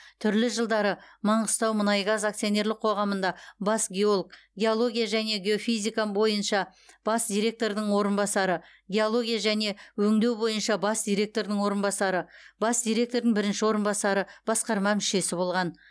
түрлі жылдары маңғыстаумұнайгаз акционерлік қоғамында бас геолог геология және геофизика бойынша бас директордың орынбасары геология және өңдеу бойынша бас директордың орынбасары бас директордың бірінші орынбасары басқарма мүшесі болған